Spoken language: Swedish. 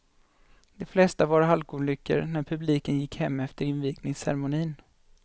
De flesta var halkolyckor när publiken gick hem efter invigningscermonin.